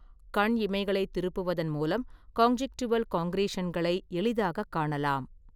கண் இமைகளைத் திருப்புவதன் மூலம் கான்ஜுன்டிவல் கான்க்ரீஷன்களை எளிதாகக் காணலாம்.